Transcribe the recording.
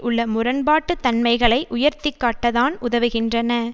உள்ள முரண்பாட்டுத் தன்மைகளை உயர்த்தி காட்டத்தான் உதவுகின்றன